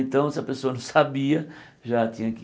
Então, se a pessoa não sabia, já tinha que...